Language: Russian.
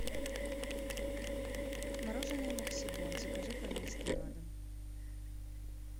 мороженое максибон закажи пожалуйста на дом